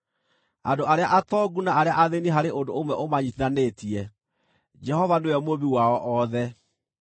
Andũ arĩa atongu na arĩa athĩĩni harĩ ũndũ ũmwe ũmanyiitithanĩtie; Jehova nĩwe Mũmbi wao othe.